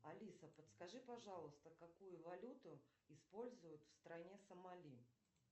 алиса подскажи пожалуйста какую валюту используют в стране сомали